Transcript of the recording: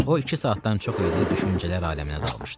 O iki saatdan çox idi düşüncələr aləminə dalmışdı.